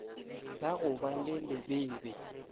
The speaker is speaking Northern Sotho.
la go ba le lebebe